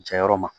Jayɔrɔ ma